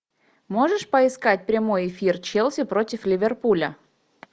можешь поискать прямой эфир челси против ливерпуля